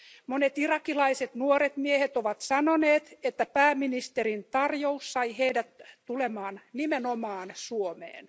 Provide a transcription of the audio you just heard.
Monet irakilaiset nuoret miehet ovat sanoneet, että pääministerin tarjous sai heidät tulemaan nimenomaan Suomeen.